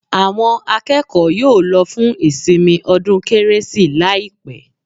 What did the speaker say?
Àwọn akẹ́kọ̀ọ́ yóò lọ fún ìsinmi ọdún Kérésì láìpẹ́